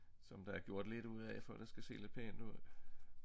Som der er gjort lidt ud af for at det skal se lidt pænt ud